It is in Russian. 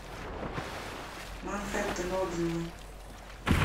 манхеттен отзывы